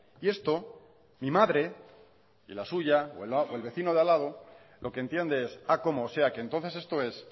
y esto mi madre o la suya o el vecino de al lado lo que entiende es cómo o sea que entonces esto es